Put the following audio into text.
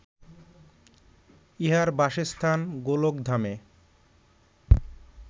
ইঁহার বাসস্থান গোলকধামে